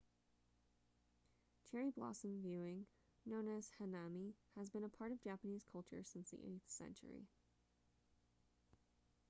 cherry blossom viewing known as hanami has been a part of japanese culture since the 8th century